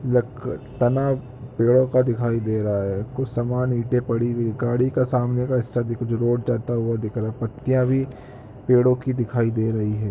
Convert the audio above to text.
यक तना पेड़ों का दिखाई दे रहा है कुछ सामान ईटे पड़ी हुई गाड़ी के सामने का हिस्सा दिख रोड जाता हुआ दिख रहा पत्तियां भी पेड़ों की दिखाई दे रही है।